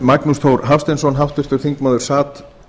magnús þór hafsteinsson háttvirtur þingmaður sat